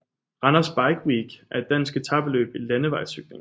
Randers Bike Week er et dansk etapeløb i landevejscykling